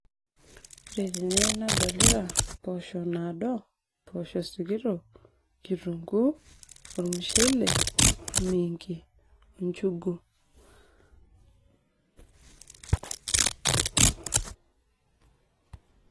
ore tene nadolita impoosho naado impoosho sikitok kitunguu ormushele o miingi o njugu.